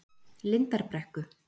Lindarbrekku